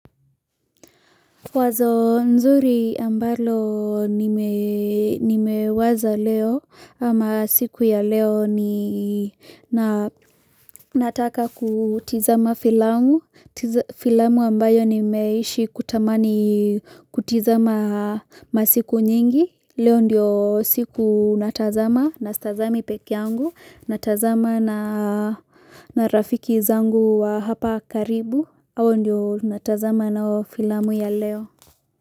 Wazo nzuri ambalo nimewaza leo, ama siku ya leo ni nataka kutizama filamu, filamu ambayo nimeishi kutamani kutizama masiku nyingi, leo ndiyo siku natazama, na stazami pekee yangu, natazama na rafiki zangu wa hapa karibu, hao ndiyo natazama nao filamu ya leo.